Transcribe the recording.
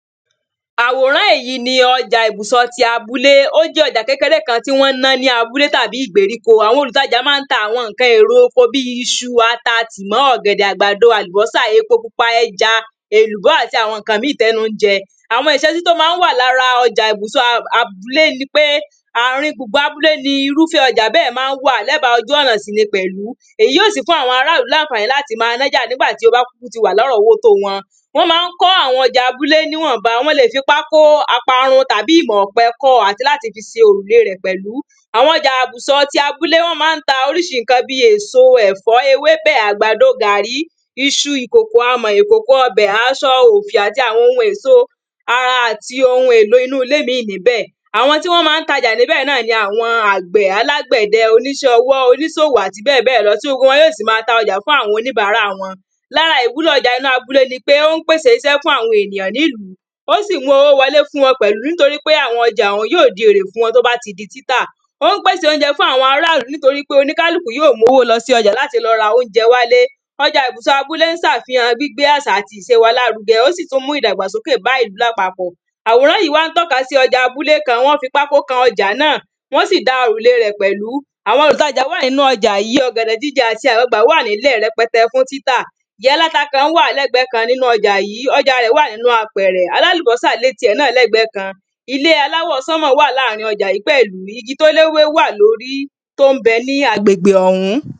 Àwòrán yìí ni ọjà ìbùsọ̀ ti abúlé. Ó jẹ́ ọjà kékeré kan tí wọ́n ń ná ní abúlé tàbí ìgbèríko. Àwọn olùtajà máá ń ta bí i iṣu, ata, tìmọ́, ọ̀gẹ̀dẹ̀, àgbàdo, àlùbọ́sà, epo pupa, ẹja, èlùbọ́ àti àwọn ǹǹkan mìí tẹ́nu ń jẹ Àwọn ìsesí tí ó máá ń wà lára ọjà ìbùsọ̀ abúlé ni pé àárín ibúgbé abúlé ni irúfẹ́ ọjà bẹ́ẹ̀ máá ń wà, lẹ́ba ojú ọ̀nà sì ni pẹ̀ú. Èyí yóó sì fún àwọn ará ìlú láǹfààní láti máa nájà nígbà tí ó bá kúkú ti wà lárọ̀ọ́wọ́ to wọn Wọ́n máá ń kọ́ àwọn ọjà níwọ̀nba. Wọ́n le fi pákó, ọparun tàbí ìmọ̀ ọ̀pẹ kọ́ ọ àti láti fi se òrùle rẹ̀ pẹ̀lú. Àwọn ọjà ibùsọ̀ ti abúlé, wọ́n máá ń ta oríṣi bí i èso, ẹ̀fọ́, ewébẹ̀, àgbàdo, gàrí, iṣu, ìkòkò amọ̀, ikòkò ọbẹ̀, asọ, òfì àti àwọn ohun èso, ara àti àwọn ohun èlò inú ilé mìíràn Àwọn tí wọ́n máá ń tajà níbẹ̀ náà ni àwọn àgbẹ̀ alágbẹ̀dẹ, oníṣẹ́ ọwọ́, onísòwò àti bẹ́ẹ̀ bẹ́ẹ̀ lọ, tí gbogbo wọn sì máa ta ọjà fún àwọn onibàárà wọn Lára ìwúlò ọja inú abúlé ni ní ó ń pèsè isẹ́ fún àwọn ènìyàn nílùú. Ó sì ń mú owó wọlé fún wọn pẹ̀lú, nítorí pé àwọn ọjà ọ̀hún yóò di èrè fún wa tó bá ti di títà Ó ń pèsè óúnjẹ fún àwọn ará ìlú nítorí pé oníkálùkú yóò mú owó lọ sí ọjà láti lọ ra óúnjẹ wálé Ọjà ibùsọ́ abúlé ń sàfihàn gbígbé àṣà àti ìse wa lárugẹ. Ó sì tún ń mú ìdàgbàsókè bá ìlú lápapọ̀ Àwòrán yìí wá ń tọ́ka sí ọjà abúlé kan. Wọ́n fi pákó kan ọjà náà, wọ́n sì dá òrùle rẹ̀ pẹ̀lú. Àwọn olútajà wà nínu ọjà yìí. Ọ̀gẹ̀dẹ̀ jíjẹ àti àgbagbà wà nílẹ̀ rẹpẹtẹ fún títà Ìya aláta kan wà lẹ́gbẹ̀ẹ́ kan nínú ọjà yìí. Ọjà rẹ̀ wà nínú apẹ̀rẹ̀. Alálùbọ́sà lé tiẹ̀ náà lẹ́gbẹ̀ẹ́ kan. Ilé aláwọ̀ wà láàárín ọjà yìí pẹ̀lú. Igi tó léwé wà lórí tó ń bẹ ní agbègbè ọ̀hún